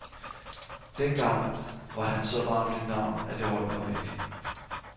Dengang var han så varmt et navn, at jeg holdt mig væk.